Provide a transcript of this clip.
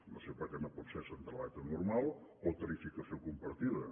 no sé per què no pot ser centraleta normal o tarificació compartida